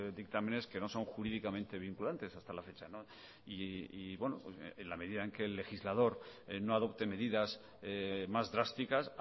dictámenes que no son jurídicamente vinculantes hasta la fecha y en la medida en que el legislador no adopte medidas más drásticas